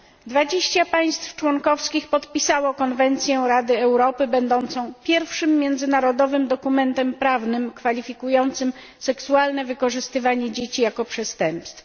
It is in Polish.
20 państw członkowskich podpisało Konwencję Rady Europy, będącą pierwszym międzynarodowym dokumentem prawnym kwalifikującym seksualne wykorzystywanie dzieci jako przestępstwo.